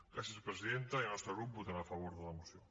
gràcies presidenta i el nostre grup votarà a favor de la moció